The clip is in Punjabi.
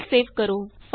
ਫਾਈਲ ਸੇਵ ਕਰੋ